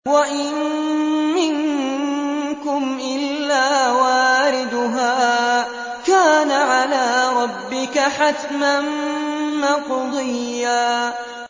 وَإِن مِّنكُمْ إِلَّا وَارِدُهَا ۚ كَانَ عَلَىٰ رَبِّكَ حَتْمًا مَّقْضِيًّا